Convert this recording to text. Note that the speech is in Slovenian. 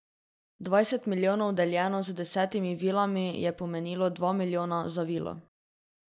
Dvajset milijonov deljeno z desetimi vilami je pomenilo dva milijona za vilo.